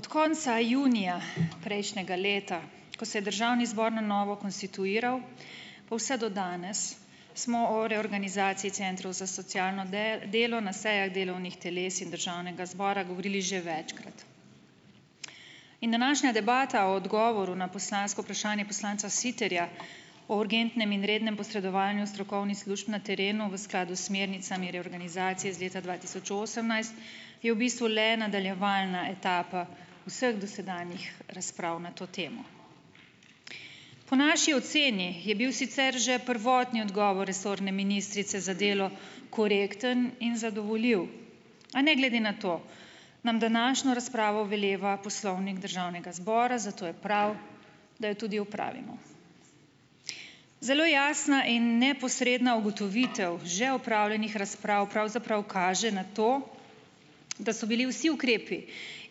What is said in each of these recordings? Od konca junija prejšnjega leta, ko se je državni zbor na novo konstituiral, pa vse do danes, smo o reorganizaciji centrov za socialno delo na sejah delovnih teles in državnega zbora govorili že večkrat in današnja debata o odgovoru na poslansko vprašanje poslanca Siterja o urgentnem in rednem posredovanju strokovnih služb na terenu v skladu s smernicami reorganizacije iz leta dva tisoč osemnajst je v bistvu le nadaljevalna etapa vseh dosedanjih razprav na to temo. Po naši oceni je bil sicer že prvotni odgovor resorne ministrice za delo korekten in zadovoljiv, a ne glede na to nam današnjo razpravo veleva poslovnik državnega zbora, zato je prav, da jo tudi opravimo. Zelo jasna in neposredna ugotovitev že opravljenih razprav pravzaprav kaže na to, da so bili vsi ukrepi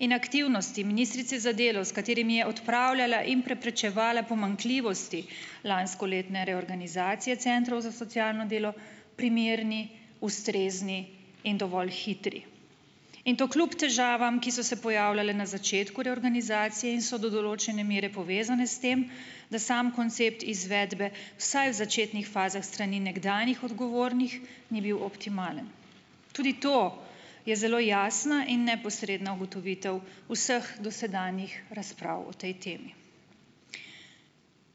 in aktivnosti ministrice za delo, s katerimi je odpravljala in preprečevala pomanjkljivosti lanskoletne reorganizacije centrov za socialno delo primerni, ustrezni in dovolj hitri in to kljub težavam, ki so se pojavljale na začetku reorganizacije in so do določene mere povezane s tem, da sam koncept izvedbe, vsaj v začetnih fazah s strani nekdanjih odgovornih, ni bil optimalen. Tudi to je zelo jasna in neposredna ugotovitev vseh dosedanjih razprav o tej temi.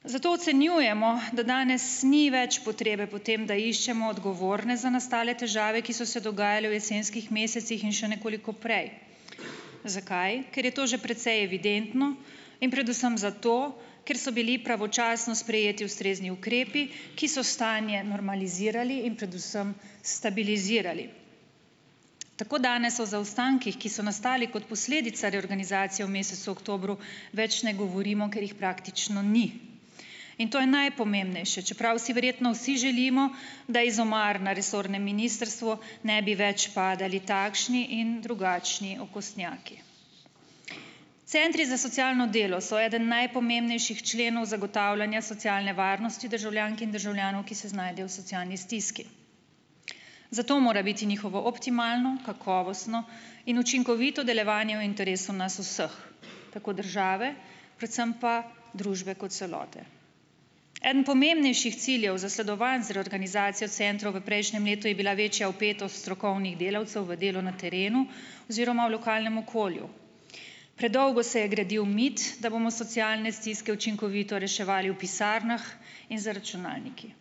Zato ocenjujemo, da danes ni več potrebe po tem, da iščemo odgovorne za nastale težave, ki so se dogajale v jesenskih mesecih in še nekoliko prej. Zakaj? Ker je to že precej evidentno in predvsem zato, ker so bili pravočasno sprejeti ustrezni ukrepi, ki so stanje normalizirali in predvsem stabilizirali. Tako danes o zaostankih, ki so nastali kot posledica reorganizacije v mesecu oktobru, več ne govorimo, ker jih praktično ni, in to je najpomembnejše, čeprav si verjetno vsi želimo, da iz omar na resornem ministrstvu ne bi več padali takšni in drugačni okostnjaki. Centri za socialno delo so eden najpomembnejših členov zagotavljanja socialne varnosti državljank in državljanov, ki se znajdejo v socialni stiski. Zato mora biti njihovo optimalno, kakovostno in učinkovito delovanje v interesu nas vseh, tako države, predvsem pa družbe kot celote. Eden pomembnejših ciljev, zasledovan z reorganizacijo centrov v prejšnjem letu, je bila večja vpetost strokovnih delavcev v delo na terenu oziroma v lokalnem okolju. Predolgo se je gradil mit, da bomo socialne stiske učinkovito reševali v pisarnah in za računalnikom.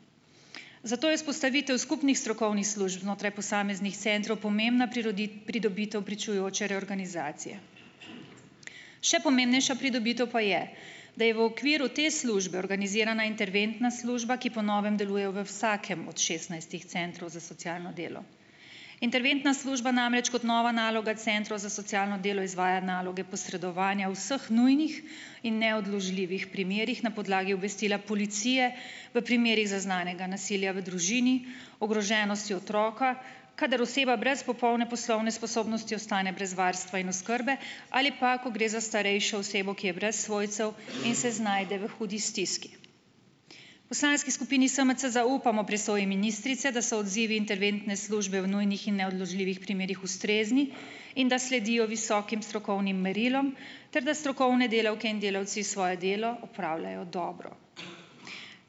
Zato je vzpostavitev skupnih strokovnih služb znotraj posameznih centrov pomembna pridobitev pričujoče reorganizacije. Še pomembnejša pridobitev pa je, da je v okviru te službe organizirana interventna služba, ki po novem deluje v vsakem od šestnajstih centrov za socialno delo. Interventna služba namreč kot nova naloga centrov za socialno delo izvaja naloge posredovanja vseh nujnih in neodložljivih primerih na podlagi obvestila policije, v primerih zaznanega nasilja v družini, ogroženosti otroka, kadar oseba brez popolne poslovne sposobnosti ostane brez varstva in oskrbe, ali pa ko gre za starejše osebo, ki je brez svojcev in se znajde v hudi stiski. V poslanski skupini SMC zaupamo prisoji ministrice, da so odzivi interventne službe v nujnih in neodložljivih primerih ustrezni in da se sledijo visokim strokovnim merilom ter da strokovne delavke in delavci svoje delo opravljajo dobro.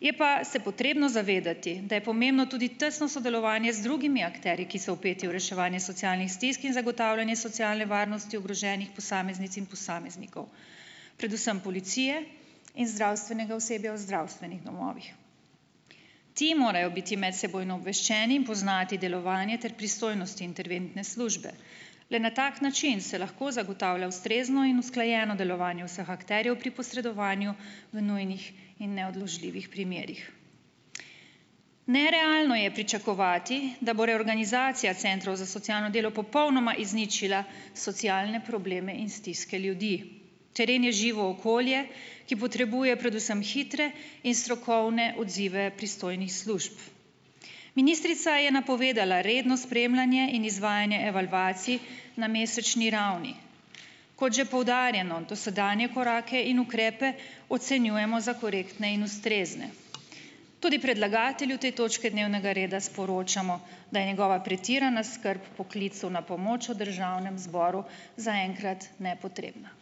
Je pa se potrebno zavedati, da je pomembno tudi tesno sodelovanje z drugimi akterji, ki so vpeti v reševanje socialnih stisk in zagotavljanje socialne varnosti ogroženih posameznic in posameznikov, predvsem policije in zdravstvenega osebja v zdravstvenih domovih. Ti morajo biti medsebojno obveščeni in poznati delovanje ter pristojnosti interventne službe. Le na tak način se lahko zagotavlja ustrezno in usklajeno delovanje vseh akterjev pri posredovanju v nujnih in neodložljivih primerih. Nerealno je pričakovati, da bo reorganizacija centrov za socialno delo popolnoma izničila socialne probleme in stiske ljudi. Teren je živo okolje, ki potrebuje predvsem hitre in strokovne odzive pristojnih služb. Ministrica je napovedala redno spremljanje in izvajanje evalvacij na mesečni ravni. Kot že poudarjeno, dosedanje korake in ukrepe ocenjujemo za korektne in ustrezne. Tudi predlagatelju te točke dnevnega reda sporočamo, da je njegova pretirana skrb po klicu na pomoč v državnem zboru zaenkrat nepotrebna.